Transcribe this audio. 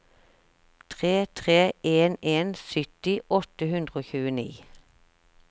tre tre en en sytti åtte hundre og tjueni